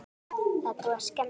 Það er búið að skemma.